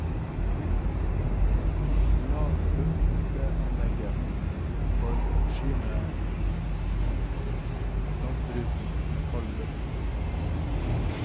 La lufteanlegget forsyne frontruten med kald luft.